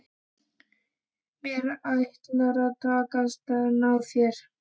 Mér ætlar að takast að ná þér.